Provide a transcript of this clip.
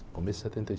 Começo de setenta e...